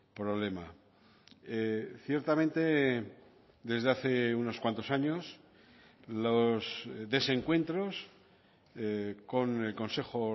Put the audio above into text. problema ciertamente desde hace unos cuantos años los desencuentros con el consejo